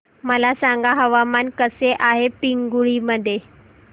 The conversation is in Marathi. मला सांगा हवामान कसे आहे पिंगुळी मध्ये